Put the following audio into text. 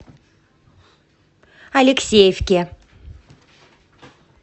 алексеевке